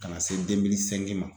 Ka na se ma